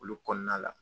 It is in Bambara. Olu kɔnɔna la